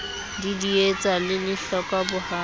didietsa le lehlokwa bo ha